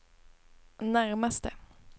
närmaste